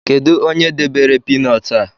Kedu onye debere piinọt a?